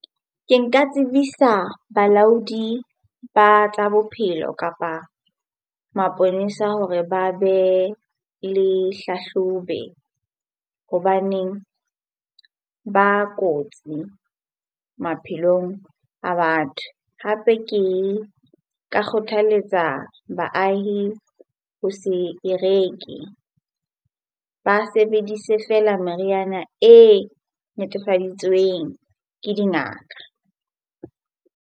Ke nka tsebisa balaodi ba tsa bophelo kapa maponesa hore ba be le hlahlobe hobaneng ba kotsi maphelong a batho. Hape ke ka kgothaletsa baahi ho se e reke. Ba sebedise feela meriana e netefaditsweng ke dingaka.